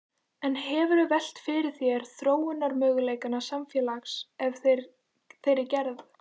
En hefurðu velt fyrir þér þróunarmöguleikum samfélags af þeirri gerð?